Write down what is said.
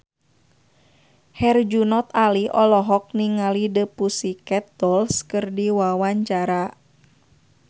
Herjunot Ali olohok ningali The Pussycat Dolls keur diwawancara